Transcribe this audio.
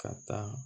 Ka taa